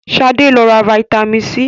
Sade tí ló rà vitamin c.